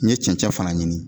N ye cɛncɛn fana ɲini.